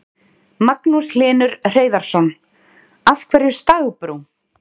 Magnús Hlynur Hreiðarsson: Af hverju stagbrú?